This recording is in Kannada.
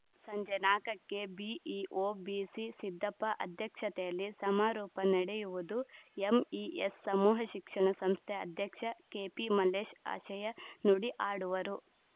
ಸಂಜೆ ನಾಲ್ಕ ಕ್ಕೆ ಬಿಇಓ ಬಿಸಿಸಿದ್ದಪ್ಪ ಅಧ್ಯಕ್ಷತೆಯಲ್ಲಿ ಸಮಾರೋಪ ನಡೆಯುವುದು ಎಂಇಎಸ್‌ ಸಮೂಹ ಶಿಕ್ಷಣ ಸಂಸ್ಥೆ ಅಧ್ಯಕ್ಷ ಕೆಪಿಮಲ್ಲೇಶ್‌ ಆಶಯ ನುಡಿ ಆಡುವರು